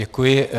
Děkuji.